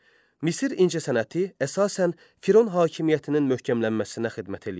Misir incəsənəti əsasən Firon hakimiyyətinin möhkəmlənməsinə xidmət eləyirdi.